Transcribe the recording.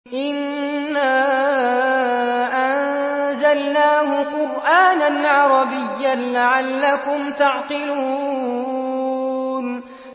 إِنَّا أَنزَلْنَاهُ قُرْآنًا عَرَبِيًّا لَّعَلَّكُمْ تَعْقِلُونَ